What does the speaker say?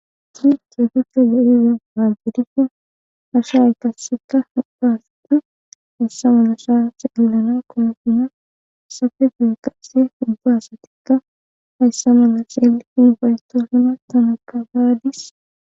Tiri keetuchcha goyiza haagidipfa asha y kaseta hopaasati hayssa malasha saallana kolufuna safe gu qasse ubba asatikka hayssa mala sheelitin ufaytoosuna tana ka haadis.